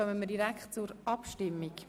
Somit kommen wir direkt zur Abstimmung.